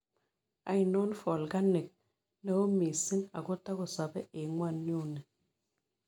Ainon volkanik neo misiing' agotagosabe eng' ng'wonynduni